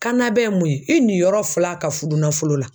Kanna bɛ ye mun ye e ni yɔrɔ fila ka furu nafolo la